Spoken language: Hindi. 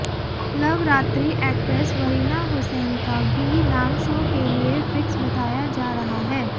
लवरात्रि एक्ट्रेस वरीना हुसैन का भी नाम शो के लिए फिक्स बताया जा रहा है